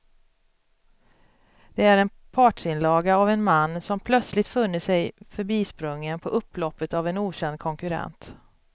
Det är en partsinlaga av en man som plötsligt funnit sig förbisprungen på upploppet av en okänd konkurrent.